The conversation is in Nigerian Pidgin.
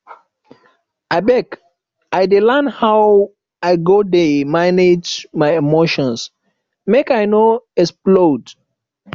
abeg i dey learn how i go dey manage my emotions make i no explode